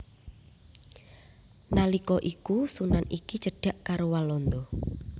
Nalika iku sunan iki cedhak karo Walanda